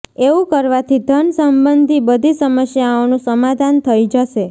એવું કરવાથી ધન સંબંધી બધી સમસ્યાઓનું સમાધાન થઈ જશે